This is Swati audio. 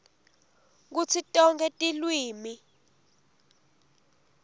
kutsi tonkhe tilwimi